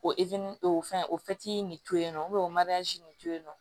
O o fɛn o nin to yen nɔ o nin to yen nɔ